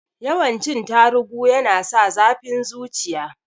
Yawan cin tarugu yana sa zafin zuciya